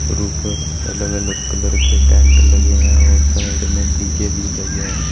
ऊपर अलग अलग कलर के टेंट लगे हैं और साइड में डी_जे भी लगे हैं।